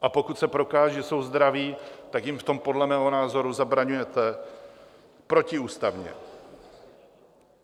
A pokud se prokáže, že jsou zdraví, tak jim v tom podle mého názoru zabraňujete protiústavně.